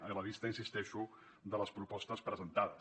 a la vista hi insisteixo de les propostes presentades